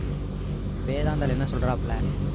வேதாந்தாள் என்ன சொல்றாப்ல